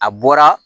A bɔra